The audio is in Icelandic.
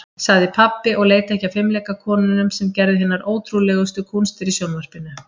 sagði pabbi og leit ekki af fimleikakonunum sem gerðu hinar ótrúlegustu kúnstir í sjónvarpinu.